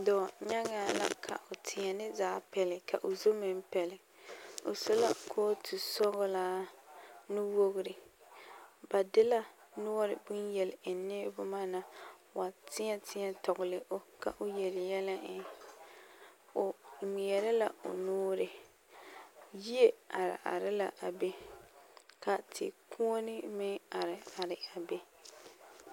Dɔɔnyaŋaa la ka o teɛne zaa pɛli ka o zu meŋ pɛli o su la kootu sɔglaa nuwogri ba de la a noɔre bonyeleŋnii boma na wa teɛ teɛ tɔgli o ka o yeli yɛlɛ eŋ o ŋmeɛrɛ la o nuuri yie are are la a be ka tekuone meŋ are are a be.